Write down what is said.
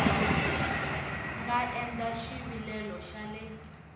nga endla xivilelo xa le